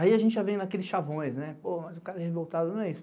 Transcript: Aí a gente já vem naqueles chavões, né, pô, mas o cara revoltado não é isso.